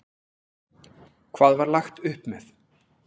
Hvað var lagt upp með?